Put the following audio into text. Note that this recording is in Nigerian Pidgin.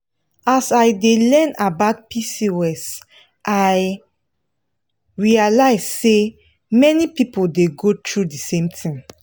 as i dey learn about pcos i realize say many people dey go through the same thing.